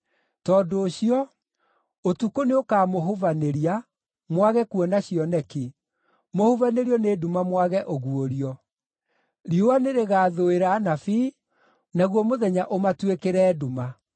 Tondũ ũcio, ũtukũ nĩũkamũhubanĩria, mwage kuona cioneki, mũhubanĩrio nĩ nduma mwage ũguũrio. Riũa nĩrĩgathũĩra anabii, naguo mũthenya ũmatuĩkĩre nduma.